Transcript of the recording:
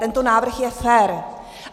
Tento návrh je fér.